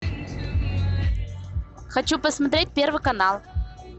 хочу посмотреть первый канал